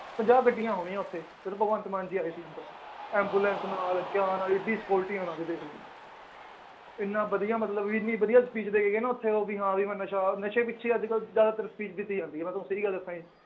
ਪੰਜਾਹ ਗੱਡੀਆਂ ਹੋਣੀਆਂ ਉੱਥੇ ਜਦ ਭਗਵੰਤ ਮਾਨ ਜੀ ਆਏ ਸੀ ਉੱਧਰ ambulance ਨਾਲ ਏਡੀ security ਉਹਨਾਂ ਦੀ ਦੇਖ ਲਓ ਇੰਨਾ ਵਧੀਆ ਮਤਲਬ ਇੰਨੀ ਵਧੀਆ speech ਦੇ ਕੇ ਗਏ ਨਾ ਉੱਥੇ ਵੀ ਹਾਂ ਵੀ ਮੈਂ ਨਸ਼ਾ ਨਸ਼ੇ ਪਿੱਛੇ ਹੀ ਅੱਜ ਕੱਲ੍ਹ ਜ਼ਿਆਦਾਤਰ speech ਦਿੱਤੀ ਜਾਂਦੀ ਹੈ ਮੈਂ ਤੁਹਾਨੂੰ ਸਹੀ ਗੱਲ ਜੀ